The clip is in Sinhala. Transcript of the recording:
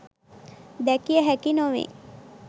දැකිය හැකි නොවේ.